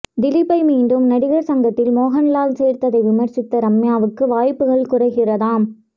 திலீப்பை மீண்டும் நடிகர் சங்கத்தில் மோகன்லால் சேர்த்ததை விமர்சித்த ரம்யாவுக்கு வாய்ப்புகள் குறைகிறதாம்